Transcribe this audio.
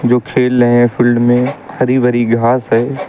जो खेल रहे हैं फील्ड में हरी भरी घास है।